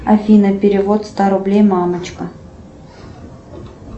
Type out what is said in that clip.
афина перевод ста рублей мамочка